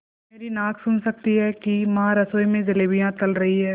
मेरी नाक सुन सकती है कि माँ रसोई में जलेबियाँ तल रही हैं